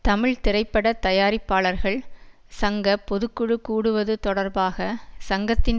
தமிழ் திரைப்பட தயாரிப்பாளர்கள் சங்க பொது குழு கூடுவது தொடர்பாக சங்கத்தின்